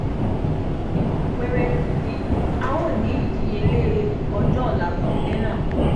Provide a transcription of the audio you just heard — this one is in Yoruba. ninu apeere yi a o ni idiyele ojo ola fun ile naa